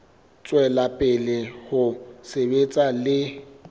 tswela pele ho sebetsa le